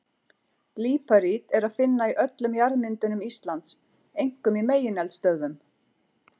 Líparít er að finna í öllum jarðmyndunum Íslands, einkum í megineldstöðvum.